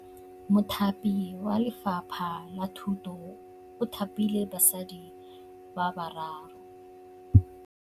Mothapi wa Lefapha la Thutô o thapile basadi ba ba raro.